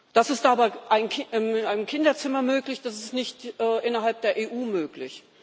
Das ist aber in einem Kinderzimmer möglich, das ist nicht innerhalb der EU möglich.